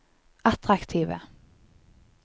attraktive